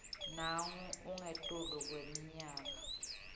nangabe ungetulu kweminyaka